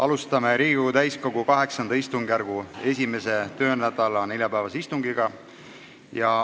Alustame Riigikogu täiskogu VIII istungjärgu esimese töönädala neljapäevast istungit.